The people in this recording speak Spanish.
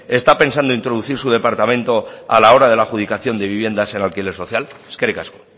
está pensando introducir su departamento a la hora de la adjudicación de viviendas en alquiler social eskerrik asko